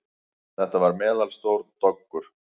Þetta var meðalstór doggur.